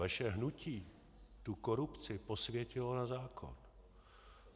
Vaše hnutí tu korupci posvětilo na zákon.